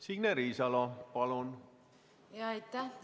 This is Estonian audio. Signe Riisalo, palun!